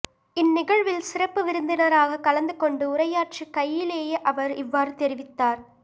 இந்நிகழ்வில் சிறப்பு விருந்தினராகக் கலந்து கொண்டு உரையாற்றுகையிலேயே அவர் இவ்வாறு தெரிவித்தார்